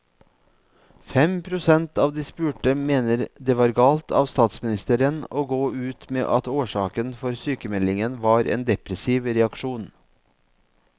Fem prosent av de spurte mener det var galt av statsministeren å gå ut med at årsaken for sykemeldingen var en depressiv reaksjon.